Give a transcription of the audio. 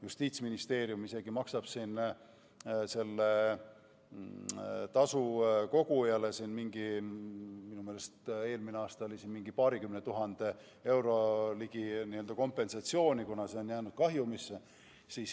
Justiitsministeerium maksab isegi sellele tasu kogujale kompensatsiooni, minu meelest eelmisel aastal oli see ligi 200 000 eurot, kuna on jäädud kahjumisse.